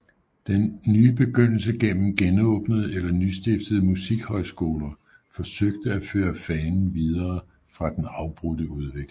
Den nye begyndelse gennem genåbnede eller nystiftede musikhøjskoler forsøgte at føre fanen videre fra den afbrudte udvikling